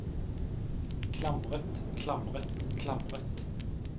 klamret klamret klamret